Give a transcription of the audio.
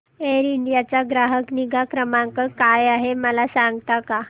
air India चा ग्राहक निगा क्रमांक काय आहे मला सांगता का